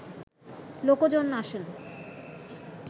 লোকজন আসেন